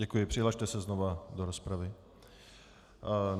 Děkuji, přihlaste se znova do rozpravy.